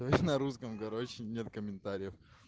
то есть на русском короче нет комментариев